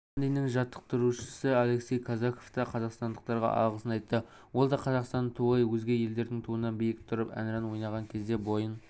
баландиннің жаттықтырушысы алексей казаков та қазақстандықтарға алғысын айтты ол да қазақстан туы өзге елдердің туынан биік тұрып әнұран ойнаған кезде бойын